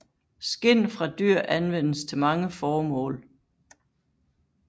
Skind fra dyr anvendes til mange formål